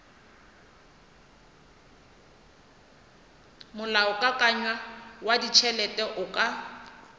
molaokakanywa wa ditšhelete o ka